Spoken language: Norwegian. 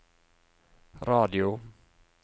radio